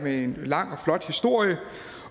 lang og flot historie